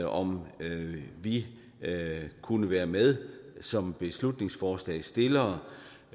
om vi kunne være med som beslutningsforslagsstillere